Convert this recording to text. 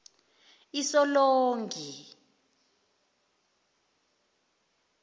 usolongi